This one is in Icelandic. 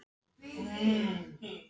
Ef ég þá hugsaði um það.